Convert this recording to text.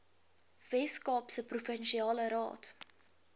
weskaapse provinsiale raad